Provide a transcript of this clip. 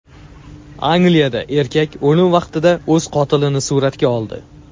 Angliyada erkak o‘lim vaqtida o‘z qotilini suratga oldi.